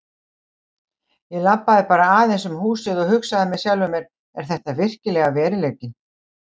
Ég labbaði bara aðeins um húsið og hugsaði með sjálfum mér: Er þetta virkilega veruleikinn?